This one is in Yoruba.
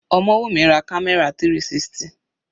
Omowumi ra camera 360.